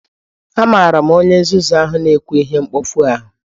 Amara m onye nzuzu ahụ na-ekwu ihe mkpofu ahụ